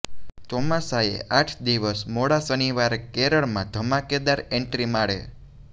ચોમાસાએ આઠ દિવસ મોડા શનિવારે કેરળમાં ધમાકેદાર એંટ્રી મારે